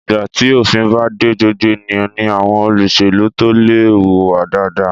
Ìgbà tí òfin bá de gbogbo ènìyàn ní àwọn olóṣèlú tó lè hùwà dáadáa.